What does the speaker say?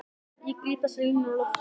Ég gríp þessar línur á lofti.